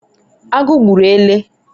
agu gburu ele